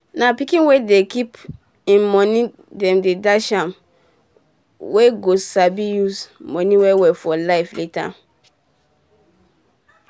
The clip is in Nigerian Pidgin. um na pikin wey dey keep im moni dem dash am um well go sabi use moni well for life um later